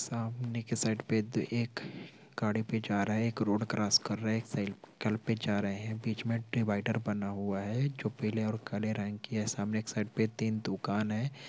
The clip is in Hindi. सामने के साइड पे एक गाड़ी पे जा रहे हैं एक रोड क्रॉस कर रहे हैं एक साइकिल पे जा रहे हैं बीच मे डिवाइडर बना हुआ हैं जो पीले और काले रंग की हैं सामने एक साइड पे तीन दुकान हैं।